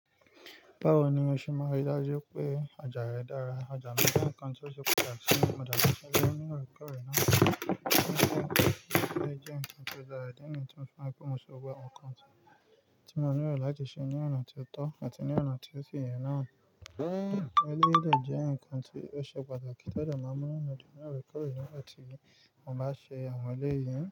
Báwo ni o ṣe máa rí dájú pé ọjà rẹ dára? Ọjà mi je ńkan tí ó ṣe pàtàkì si mi mo dàgbà sí ilé ní orí kọ́rọ́ náà, kí n tó lè jẹ́ ǹkan tí ó dára nítorí tí mo fẹ́ mú sókè ọkàn tí mo ní rẹ̀ láti ṣe ní ọ̀nà tí ó tọ́ àti ní ọ̀nà tí ó tìyẹ̀ náà. Eléèlé jẹ́ ǹkan tí ó ṣe pàtàkì tó lè má mú wá nínú orí kọ́rọ́ náà tí mo bá ṣe àwọn eléèyàn.